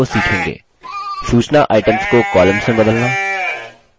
4 सूचना items को columns में बदलना